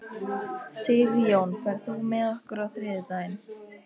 Sigjón, ferð þú með okkur á þriðjudaginn?